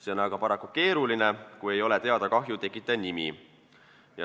See on aga paraku keeruline, kui ei ole teada kahju tekitaja nimi.